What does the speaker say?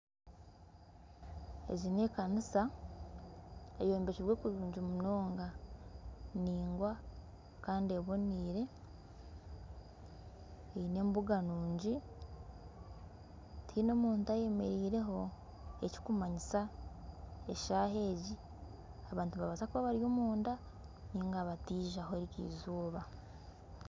Egi n'ekanisa eyombekirwe kurungi munonga nindaingwa kandi ebonaire eine embuga nungi tihaine muntu ayemereireho ekirikumanyisa eshaaha ezi abantu nibabaasa kuba bari omunda nari tibaijaho eriizooba.